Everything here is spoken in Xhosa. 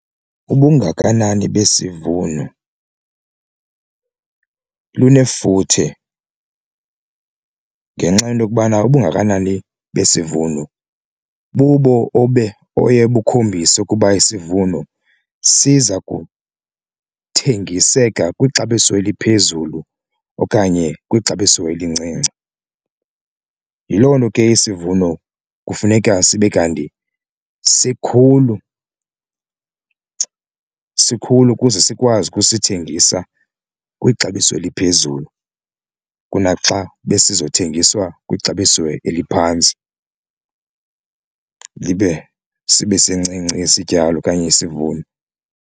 Ubungakanani besivuno buba lunefuthe ngenxa yento okubana ubungakanani besivuno bubo oye bukhombise ukuba isivuno siza kuthengiseka kwixabiso eliphezulu okanye kwixabiso elincinci. Yiloo nto ke isivuno kufuneka sibe kanti sikhulu sikhulu ukuze sikwazi ukusithengisa kwixabiso eliphezulu kunaxa besizo thengiswa kwixabiso eliphantsi libe sibe sincinci isityalo okanye isivuno.